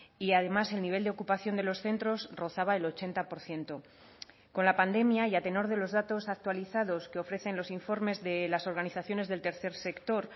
y además el nivel de ocupación de los centros rozaba el ochenta por ciento con la pandemia y a tenor de los datos actualizados que ofrecen los informes de las organizaciones del tercer sector